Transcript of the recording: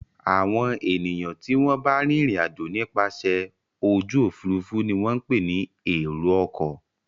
Àwọn ènìyàn tí wọ́n ń bá rìnrìn-àjò nípasẹ̀ ojú òfurufú ni wọ́n ń pè ní èrò-ọkọ̀.